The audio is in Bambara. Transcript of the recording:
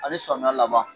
Ani samiya laban